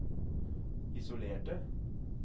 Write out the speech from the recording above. isolerte